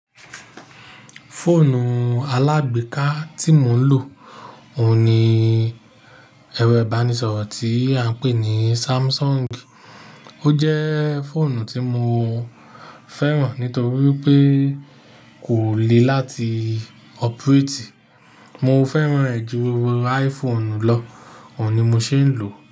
Fóònù alágbèéká tí mò ń lò, òun ni ẹ̀rọ ìbánisọ̀rọ̀ tí a ń pè ní Samsung. Ó jẹ́ fóònù tí mo fẹ́ràn nítorí pé kò le láti operate. Mo fẹ́ràn ẹ̀ ju iPhone lọ, òun ni mò ṣé ń lò.